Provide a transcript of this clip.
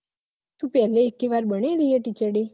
તુ પેલે એકેવાર બનેલી હે teacher day